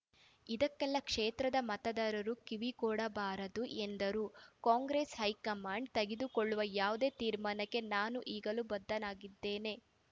ಇದಕ್ಕೆಲ್ಲ ಕ್ಷೇತ್ರದ ಮತದಾರರು ಕಿವಿಕೊಡಬಾರದು ಎಂದರು ಕಾಂಗ್ರೆಸ್‌ ಹೈಕಮಾಂಡ್‌ ತೆಗೆದುಕೊಳ್ಳುವ ಯಾವುದೇ ತೀರ್ಮಾನಕ್ಕೆ ನಾನು ಈಗಲೂ ಬದ್ಧನಾಗಿದ್ದೇನೆ